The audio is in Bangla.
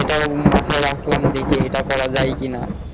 এটা মাথা রাখলাম দেখি এটা করা যায় কিন